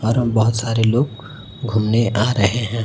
परम बहोत सारे लोग घूमने आ रहे है।